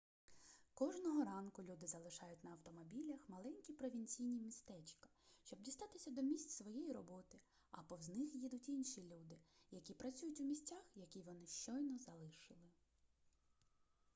кожного ранку люди залишають на автомобілях маленькі провінційні містечка щоб дістатися до місць своєї роботи а повз них їдуть інші люди які працюють у місцях які вони щойно залишили